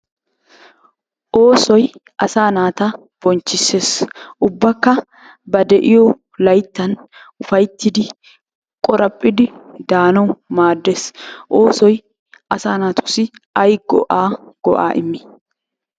Oosoy asaa naata bonchchissees, ubbakka ba de'iyo layttan ufayttidi qoraphidi daanawu maaddees. Oosoy asaa naatussi ayi go'aa go'aa immi?